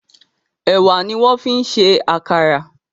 Ẹwà ní wón fín ṣe àkàrà.